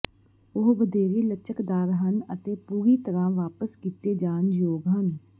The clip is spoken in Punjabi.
ਉਹ ਵਧੇਰੇ ਲਚਕਦਾਰ ਹਨ ਅਤੇ ਪੂਰੀ ਤਰਾਂ ਵਾਪਸ ਕੀਤੇ ਜਾਣ ਯੋਗ ਹਨ